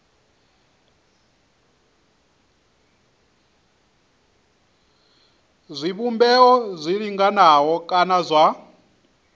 zwivhumbeo zwi linganaho kana zwa